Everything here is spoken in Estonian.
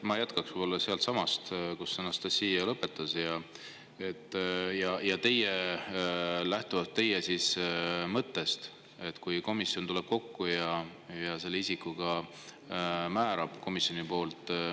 Ma jätkan sealtsamast, kus Anastassia lõpetas, ja lähtun teie mõttest, et kui komisjon tuleb kokku, siis ta selle isiku komisjoni poolt määrab.